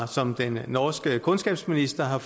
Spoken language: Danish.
som den norske kundskabsminister har